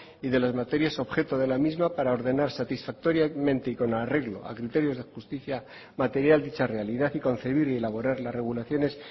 y de las materias objeto de la misma para ordenar satisfactoriamente y con arreglo a criterios de justicia material dicha realidad y concebir y elaborar las regulaciones